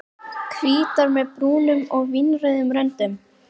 Hvítar með brúnum og vínrauðum röndum.